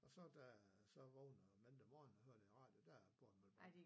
Og så da jeg så vågnede mandag morgen og hørte i radioen der er Borbjerg mølle brandt